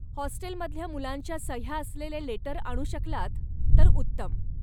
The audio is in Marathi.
हॉस्टेलमधल्या मुलांच्या सह्या असलेले लेटर आणू शकलात तर उत्तम.